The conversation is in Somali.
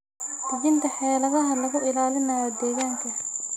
Dejinta xeeladaha lagu ilaalinayo deegaanka.